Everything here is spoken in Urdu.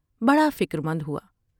بڑا فکر مند ہوا ۔